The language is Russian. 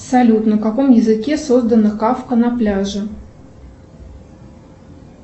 салют на каком языке создана кавка на пляже